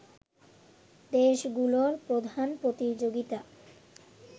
দেশগুলোর প্রধান প্রতিযোগিতা